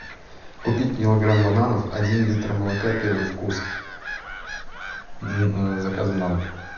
купить килограмм бананов один литр молока первый вкус с заказом на дом